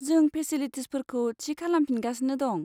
जों फेचिलिटिसफोरखौ थि खालामफिनगासिनो दं।